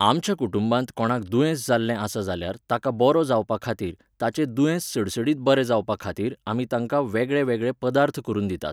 आमच्या कुटुंबांत कोणाक दुयेंस जाल्लें आसा जाल्यार ताका बरो जावपा खातीर, ताचें दुयेंस सडसडीत बरें जावपा खातीर आमी तांकां वेगळेवेगळे पदार्थ करून दितात.